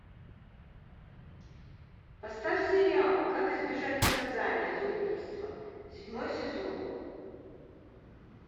поставь сериал как избежать наказания за убийство седьмой сезон